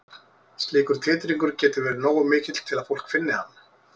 Slíkur titringur getur verið nógu mikill til að fólk finni hann.